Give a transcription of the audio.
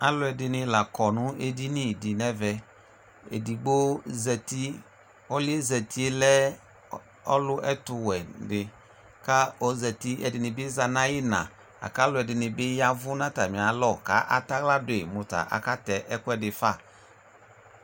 Alʋɛdɩnɩ la kɔ edini dɩ n'ɛvɛ Edigbo zati, ɔlʋ yɛ zati lɛ, ɔlʋ, ɛtʋwɛ dɩ ka ozati, ɛdɩnɩ bɩ za n''ayiina, lak'alʋɛdɩnɩ bɩ yavʋ n'stamialɔ ka ataɣla dʋ yi mʋ ta akatɛ ɛkʋɛdɩ fa